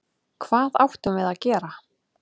Hvað áttum við að gera?